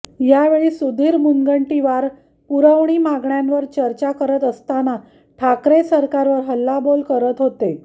यावेळी सुधीर मुनगंटीवार पुरवणी मागण्यांवर चर्चा करत असताना ठाकरे सरकारवर हल्लाबोल करत होते